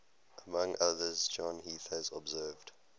among others john heath has observed